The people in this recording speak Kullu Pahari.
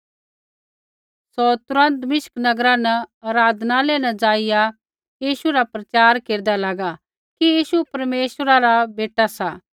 सौ तुरन्त दमिश्क नगरा आराधनालय न जाइया यीशू रा प्रचार केरदा लागा कि यीशु परमेश्वरा रा बेटा सा